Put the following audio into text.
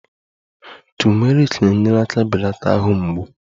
Turmeric na-enyere aka belata ahụ mgbu